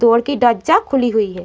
Door की दज्जा खुली हुई है।